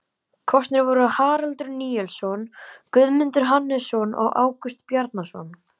Kosnir voru Haraldur Nielsson, Guðmundur Hannesson og Ágúst Bjarnason.